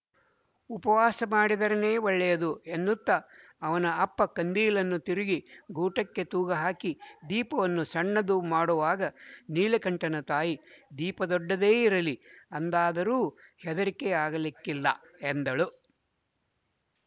ಉಪವಾಸ ಮಾಡಿದರೇನೆ ಒಳ್ಳೆಯದು ಎನ್ನುತ್ತ ಅವನ ಅಪ್ಪ ಕಂದೀಲನ್ನು ತಿರುಗಿ ಗೂಟಕ್ಕೆ ತೂಗುಹಾಕಿ ದೀಪವನ್ನು ಸಣ್ಣದು ಮಾಡುವಾಗ ನೀಲಕಂಠನ ತಾಯಿ ದೀಪ ದೊಡ್ಡದೇ ಇರಲಿ ಅಂದರಾದರೂ ಹೆದರಿಕೆ ಆಗಲಿಕ್ಕಿಲ್ಲ ಎಂದಳು